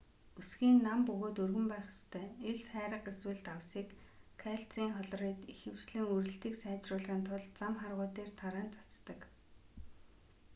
өсгий нь нам бөгөөд өргөн байх ёстой. элс хайрга эсвэл давсыг кальцийн хлорид ихэвчлэн үрэлтийг сайжруулахын тулд зам харгуй дээр тараан цацдаг